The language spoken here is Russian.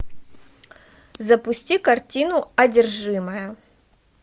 запусти картину одержимая